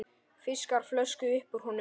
Fiskar flösku upp úr honum.